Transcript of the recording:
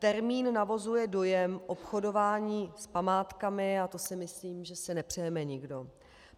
Termín navozuje dojem obchodování s památkami a to si myslím, že si nepřejeme nikdo.